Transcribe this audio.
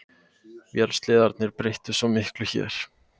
Vélsleðarnir breyttu svo miklu hér.